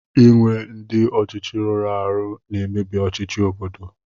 Ịnwe ndị ọchịchị rụrụ arụ na-emebi ọchịchị obodo